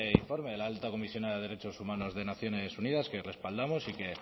informe de la alta comisionada de derechos humanos de naciones unidas que respaldamos y que